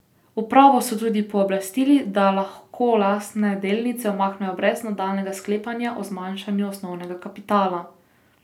Upravo so tudi pooblastili, da lahko lastne delnice umakne brez nadaljnjega sklepanja o zmanjšanju osnovnega kapitala.